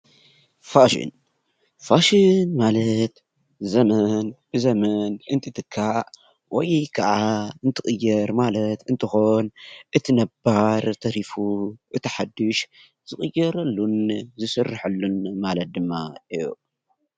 ፋሽን: ፋሽን ማለት ዘመን ብዘመን እንትትካእ ወይ ከዓ እንትቅየር ማለት እንትኮን እቲ ነባር ተሪፉ እቲ ሓዱሽ ዝቅየረሉን ዝስረሐሉን ማለት ድማ እዩ።